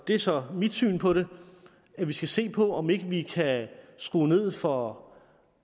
er så mit syn på det at vi skal se på om ikke vi kan skrue ned for